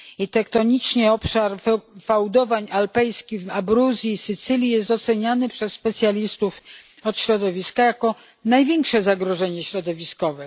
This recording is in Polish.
Tektonicznie, obszar fałdowań alpejskich w Abruzji, na Sycylii, jest oceniany przez specjalistów od środowiska jako największe zagrożenie środowiskowe.